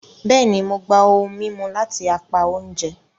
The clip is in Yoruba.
Bẹẹni, Mo gbà ohùn mímú lati apá oúnjẹ